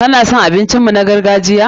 Ka na son abincin mu na gargajiya?